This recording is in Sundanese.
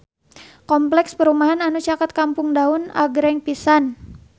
Kompleks perumahan anu caket Kampung Daun agreng pisan